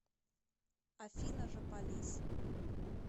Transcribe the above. афина жополиз